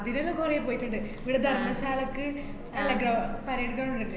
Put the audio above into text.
അതിനെല്ലാം കൊറേ പോയിട്ടിണ്ട്. ഇവടെ ധര്‍മ്മശാലക്ക് അല്ല, ഗവ്~ parade ground ല്ലാ ല്ലേ?